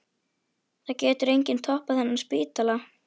Það getur enginn opnað þennan spítala.